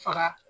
Faga